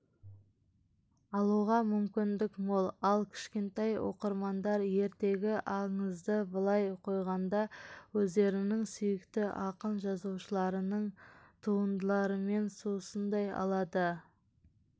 алуға мүмкіндік мол ал кішкентай оқырмандар ертегі-аңызды былай қойғанда өздерінің сүйікті ақын-жазушыларының туындыларымен сусындай алады